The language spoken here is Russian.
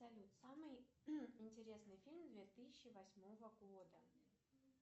салют самый интересный фильм две тысячи восьмого года